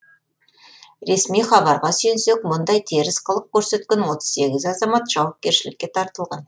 ресми хабарға сүйенсек мұндай теріс қылық көрсеткен отыз сегіз азамат жауапкершілікке тартылған